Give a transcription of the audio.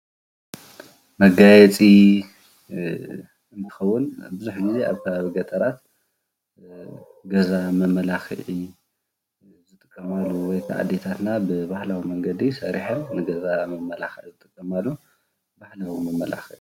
መጋያየፂ ዝከውን ቡዙሕ ግዜ ኣብ ገጠራት ገዛ መመለኪዒ ዝጥቀማሉ ወይ ከዓ ኣዴታትና ብባህላዊ መንገዲ ሰሪሓ ንገዛ መመላኪዒ ዝጥቀማሉ ባህላዊ መመላኪዒ እዩ፡፡